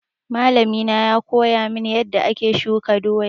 Malami na ya koya min yanda ake shuka doya